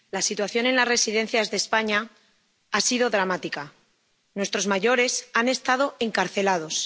Señor presidente, la situación en las residencias de España ha sido dramática nuestros mayores han estado encarcelados.